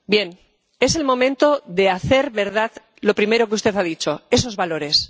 Bien, es el momento de hacer verdad lo primero que usted ha dicho esos valores.